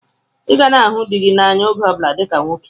Ị ga na-ahụ dị gị n'anya oge ọbụla dịka nwoke!